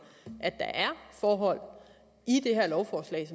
at der er forhold i det her lovforslag